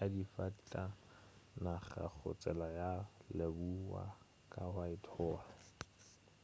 ya difatanaga go tsela ya lebowa ka whitehall